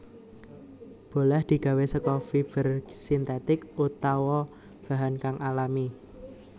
Bolah digawé saka fiber sintètik utawa bahan kang alami